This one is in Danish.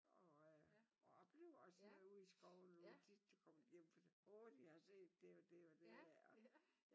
Og øh oplever også at være ude i skoven og tit kommer jeg hjem og åh jeg har set det og det og det her